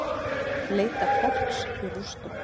Leita fólks í rústum